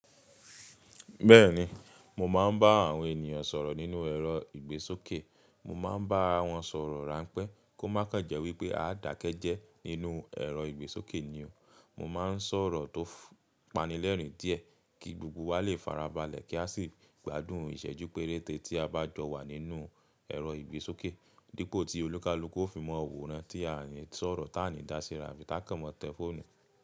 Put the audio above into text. Bẹ́ẹ̀ni, mo máa ń bá àwọn ènìyàn sọ̀rọ̀ nínú ẹ̀rọ ìgbésókè, mo máa ń bá wọn sọ̀rọ̀ ránpẹ́ kó má kan jẹ́ wípé a dakẹ́ jẹ́ nínú ẹ̀rọ ìgbésókè ni o. Mo máa ń sọ̀rọ̀ tó panílẹ̀rìn díẹ̀ kí gbogbo wa lè farabalẹ̀ kí a sì gbádùn ìṣẹ́jú péréte tí a bá jọ wà nínú ẹ̀rọ ìgbésókè. Dípò tí olúkalúkú ó fi mọ òwúrọ̀ tí à ń sọ̀rọ̀ tá à ní dá síra bí tá kàn mọ̀ tẹ fóònù.